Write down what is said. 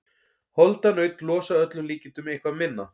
Holdanaut losa að öllum líkindum eitthvað minna.